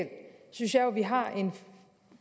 synes jeg jo at vi har en